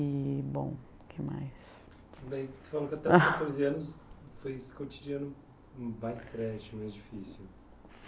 E, bom, o que mais? Isso daí você falou que até aos quatorze anos foi esse cotidiano mais difícil